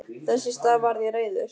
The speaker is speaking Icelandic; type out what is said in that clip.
Þess í stað varð ég reiður.